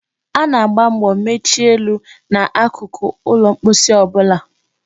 A na-agba mbo mechie elu na akụkụ ụlọ mposi ọ bụla.